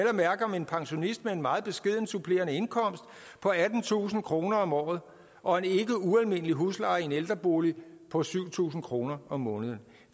at mærke om en pensionist med en meget beskeden supplerende indkomst på attentusind kroner om året og en ikke ualmindelig husleje i en ældrebolig på syv tusind kroner om måneden